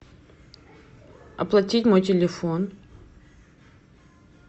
оплатить мой телефон